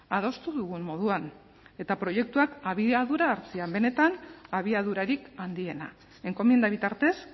adostu dugun moduan eta proiektuak abiadura hartzea benetan abiadurarik handiena enkomienda bitartez